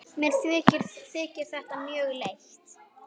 Mér þykir þetta mjög leitt.